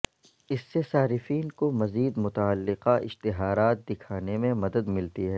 اس سے صارفین کو مزید متعلقہ اشتہارات دکھانے میں مدد ملتی ہے